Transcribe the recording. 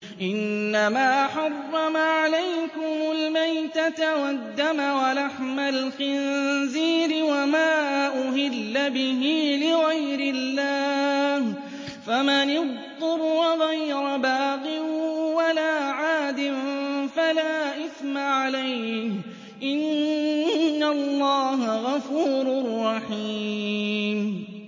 إِنَّمَا حَرَّمَ عَلَيْكُمُ الْمَيْتَةَ وَالدَّمَ وَلَحْمَ الْخِنزِيرِ وَمَا أُهِلَّ بِهِ لِغَيْرِ اللَّهِ ۖ فَمَنِ اضْطُرَّ غَيْرَ بَاغٍ وَلَا عَادٍ فَلَا إِثْمَ عَلَيْهِ ۚ إِنَّ اللَّهَ غَفُورٌ رَّحِيمٌ